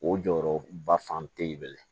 O jɔyɔrɔ ba fan tɛ ye dɛ